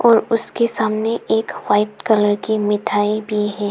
और उसके सामने एक वाइट कलर की मिठाई भी है।